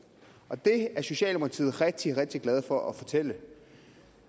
og det er socialdemokratiet rigtig rigtig glade for at fortælle